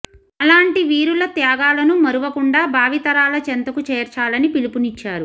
అలాంటి వీరుల త్యాగాలను మరవకుండా భావితరాల చెంతకు చేర్చాలని పిలుపునిచ్చారు